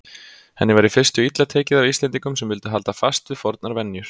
Henni var í fyrstu illa tekið af Íslendingum sem vildu halda fast við fornar venjur.